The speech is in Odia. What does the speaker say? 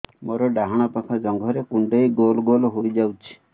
ମୋର ଡାହାଣ ପାଖ ଜଙ୍ଘରେ କୁଣ୍ଡେଇ ଗୋଲ ଗୋଲ ହେଇଯାଉଛି